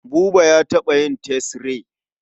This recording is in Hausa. Buba ya taɓa yin tesre.